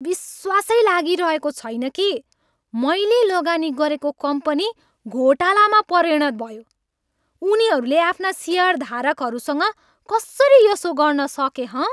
विश्वासै लागिरहेको छैन कि मैले लगानी गरेको कम्पनी घोटालामा परिणत भयो। उनीहरूले आफ्ना सेयरधारकहरूसँग कसरी यसो गर्न सके हँ?